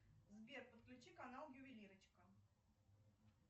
сбер подключи канал ювелирочка